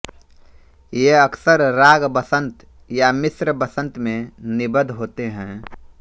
ये अक्सर राग वसंत या मिश्र वसंत में निबद्ध होते हैं